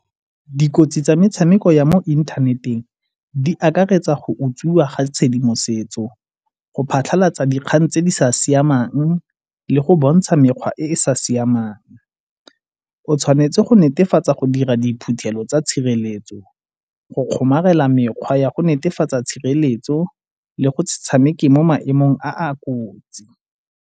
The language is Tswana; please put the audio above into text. Dikotsi tsa metshameko ya mo inthaneteng di akaretsa go utswiwa ga tshedimosetso, go phatlhalatsa dikgang tse di sa siamang le go bontsha mekgwa e e sa siamang. O tshwanetse go netefatsa go dira diphuthelo tsa tshireletso, go kgomarela mekgwa ya go netefatsa tshireletso le go se tshameke mo maemong a a kotsi.